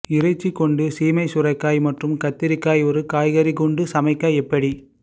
இறைச்சி கொண்டு சீமை சுரைக்காய் மற்றும் கத்திரிக்காய் ஒரு காய்கறி குண்டு சமைக்க எப்படி